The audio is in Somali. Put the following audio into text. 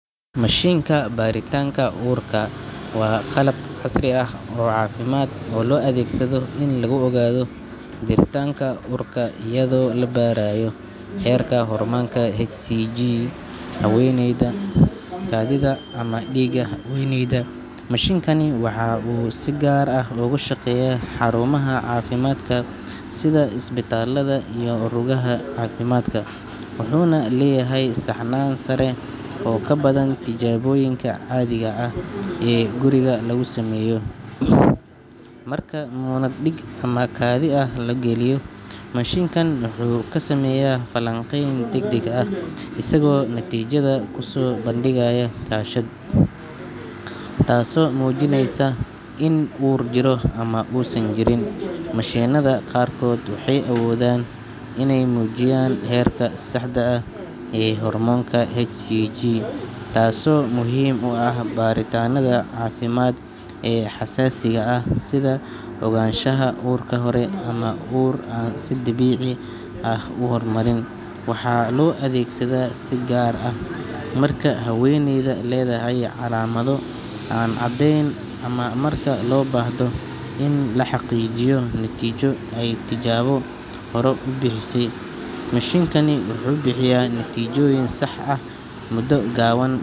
Mashiinka baaritaanka uurka waa qalab casri ah oo caafimaad oo loo adeegsado in lagu ogaado jiritaanka uurka iyadoo la baarayo heerka hormoonka hCG human chorionic gonadotropin ee ku jira kaadida ama dhiigga haweeneyda. Mashiinkani waxa uu si gaar ah ugu shaqeeyaa xarumaha caafimaadka sida isbitaallada iyo rugaha caafimaadka, wuxuuna leeyahay saxnaan sare oo ka badan tijaabooyinka caadiga ah ee guriga lagu sameeyo. Marka muunad dhiig ama kaadi ah la geliyo mashiinka, wuxuu ku sameeyaa falanqayn degdeg ah isagoo natiijada ku soo bandhigaya shaashad, taasoo muujinaysa in uur jiro ama uusan jirin. Mashiinada qaarkood waxay awoodaan inay muujiyaan heerka saxda ah ee hormoonka hCG, taasoo muhiim u ah baaritaanada caafimaad ee xasaasiga ah sida ogaanshaha uurka hore ama uur aan si dabiici ah u horumarin. Waxaa loo adeegsadaa si gaar ah marka haweeneyda leedahay calaamado aan caddayn ama marka loo baahdo in la xaqiijiyo natiijo ay tijaabo hore bixisay. Mashiinka wuxuu bixiyaa natiijooyin sax ah muddo gaaban.